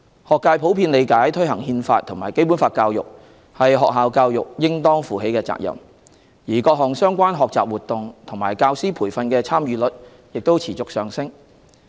學界普遍理解推行《憲法》和《基本法》教育是學校教育應當負起的責任，而各項相關學習活動和教師培訓的參與率亦持續上升。